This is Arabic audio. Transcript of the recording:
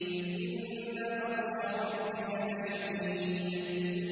إِنَّ بَطْشَ رَبِّكَ لَشَدِيدٌ